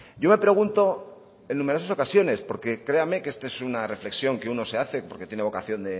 yo me pregunto en numerosas ocasiones porque créame que esta es una reflexión que uno se hace porque tiene vocación